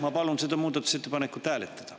Ma palun seda muudatusettepanekut hääletada.